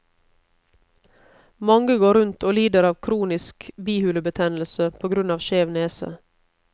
Mange går rundt og lider av kronisk bihulebetennelse på grunn av skjev nese.